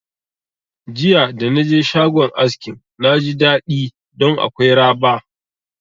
Jiya da naje shagon askin na ji daɗi ɗon akwai raba